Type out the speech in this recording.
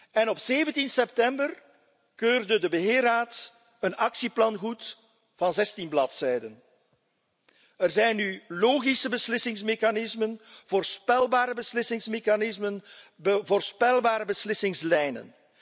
en op 17 september keurde de beheerraad een actieplan goed van 16 bladzijden. Er zijn nu logische beslissingsmechanismen, voorspelbare beslissingsmechanismen en voorspelbare beslissingslijnen.